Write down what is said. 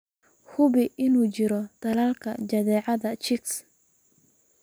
Hubi in uu jiro tallaalka jadeecada chicks.